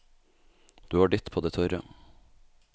Du har ditt på det tørre.